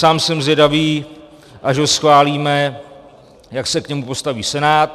Sám jsem zvědavý, až ho schválíme, jak se k němu postaví Senát.